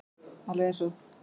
Alveg eins og